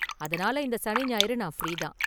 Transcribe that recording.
அதனால இந்த சனி ஞாயிறு நான் ஃப்ரீ தான்.